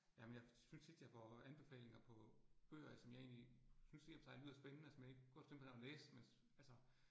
Jamen jeg synes tit, jeg får anbefalinger på bøger, jeg som jeg egentlig synes i og for sig lyder spændende, og som jeg egentlig godt kunne tænke mig at læse altså